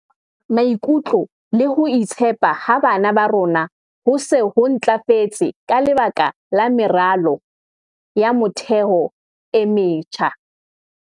"Maikutlo le ho itshepa ha bana ba rona ho se ho ntlafetse ka lebaka la meralo ya motheo e metjha."